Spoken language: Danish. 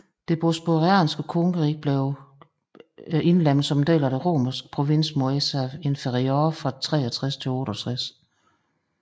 Det bosporanske kongerige blev indlemmet som en del af den romerske provins Moesia Inferior fra 63 til 68